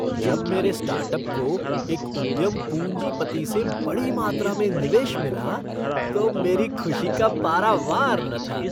जब मेरे स्टार्टअप को एक उद्यम पूंजीपति से बड़ी मात्रा में निवेश मिला तो मेरी खुशी का पारावार न था।